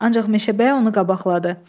Ancaq Meşəbəyi onu qabaqladı.